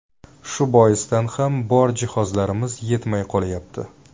Shu boisdan ham bor jihozlarimiz yetmay qolyapti.